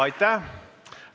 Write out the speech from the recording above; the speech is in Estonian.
Aitäh!